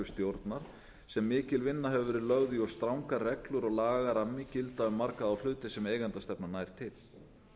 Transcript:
stjórnar sem mikil vinna hefur verið lögð í og strangar reglur og lagarammi gilda um marga þá hluti sem eigendastefnan nær til